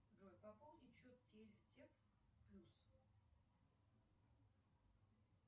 джой пополнить счет текст плюс